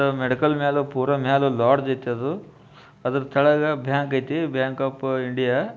Medical ಮೇಲೆ ಪೂರಾ ಮೇಲ ಲಾಡ್ಜ್ ಐತಿ ಅದು ಅದರ ಕೆಳಗೆ ಬ್ಯಾಂಕ್ ಐತಿ ಆ ಬ್ಯಾಂಕ್ ಆಫ್ ಇಂಡಿಯಾ .